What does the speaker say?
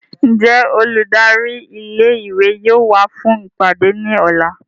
Njẹ oludari ìlé-ìwé yóò wa fun ipade ni ọla?